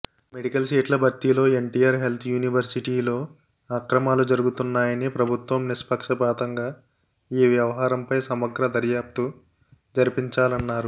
medical సీట్ల భర్తీలో NTR health యూనివర్శిటీలో అక్రమాలు జరుగుతున్నాయని ప్రభుత్వం నిష్పక్షపాతంగా ఈవ్యవహారంపై సమగ్ర దర్యాప్తు జరిపించాలన్నారు